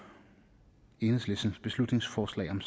enhedslistens beslutningsforslag om